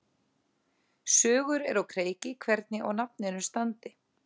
Sögur eru á kreiki hvernig á nafninu standi.